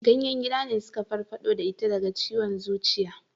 Ganyen gida ne suka farfado da ita daga ciwon zuciya